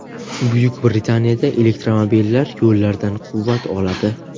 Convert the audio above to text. Buyuk Britaniyada elektromobillar yo‘llardan quvvat oladi.